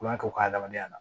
Kulon kɛ ko ka adamadenya na